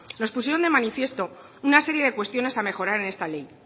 nos pusieron de manifiesto una serie de cuestiones a mejorar en esta ley